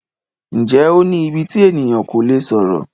Ǹjẹ́ o ní íbí tí ènìyàn kò tí lè sọ̀rọ̀?